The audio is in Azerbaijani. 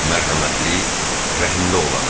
Mərhəmətli, Rəhimli olana.